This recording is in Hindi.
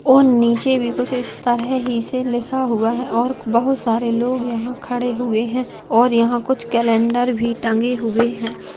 और नीचे भी कुछ इस तहर ही से लिखा हुआ है और बहुत सारे लोग यहाँ खड़े हुए है और यहाँ कुछ कैलेंडर भी टंगे हुए हैं।